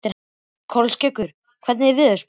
Kolskeggur, hvernig er veðurspáin?